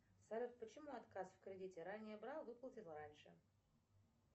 салют почему отказ в кредите ранее брал выплатил раньше